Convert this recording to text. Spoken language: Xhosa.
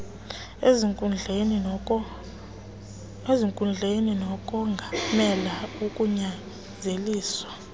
ezinkundleni nokongamela ukunyanzeliswa